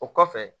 O kɔfɛ